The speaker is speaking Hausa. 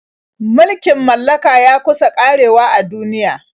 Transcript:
Mulkin mallaka ya kusa ƙarewa a duniya.